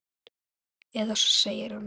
Eða svo segir hann!